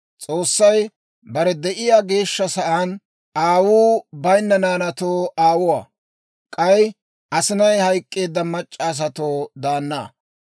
S'oossay bare de'iyaa geeshsha sa'aan, aawuu bayinna naanaatoo aawuwaa; k'ay asinay hayk'k'eedda mac'c'a asatoo daana.